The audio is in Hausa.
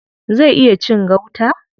Zai iya cin gauta?